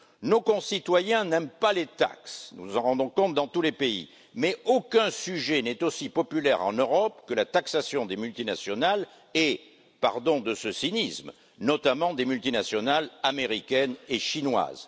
Nos concitoyens n'aiment pas les taxes, nous nous en rendons compte dans tous les pays, mais aucun sujet n'est aussi populaire en Europe que la taxation des multinationales et, pardon de ce cynisme, notamment des multinationales américaines et chinoises.